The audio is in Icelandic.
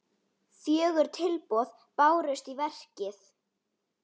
Fjögur tilboð bárust í verkið.